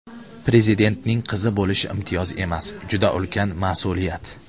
Prezidentning qizi bo‘lish imtiyoz emas, juda ulkan mas’uliyat.